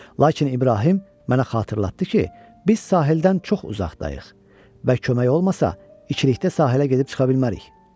Lakin İbrahim mənə xatırlatdı ki, biz sahildən çox uzaqdayıq və kömək olmasa içilikdə sahilə gedib çıxa bilmərik.